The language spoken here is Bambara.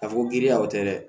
A fɔ ko giriya o tɛ dɛ